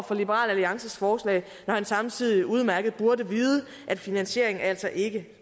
for liberal alliances forslag når han samtidig burde vide at finansieringen altså ikke